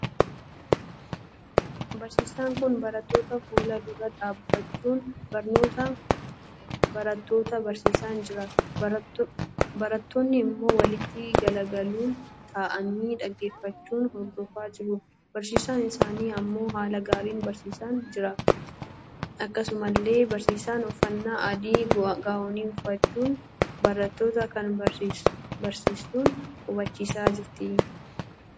Barsiisaan kun barattoota fuula dura dhaabbachuun barnoota barattoota barsiisaan jira. barattootni immoo walitti galagaluun taa'aanii dhaggeeffachuun Hordofaa jiru. barsiisaan isaanii ammoo haala gaariin barsiisaan jira. akkasumallee barsiisaan uffannaa adii gaa'onii uffachuun barattoota kan barsiistuun hubachiisaa jira.